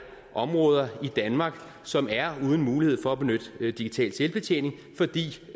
områder i danmark som er uden mulighed for at benytte digital selvbetjening fordi